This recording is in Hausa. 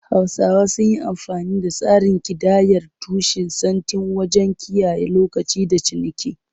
Hausawa sun yi amfani da tsarin kidayar tushe-sittin wajen kiyaye lokaci da ciniki.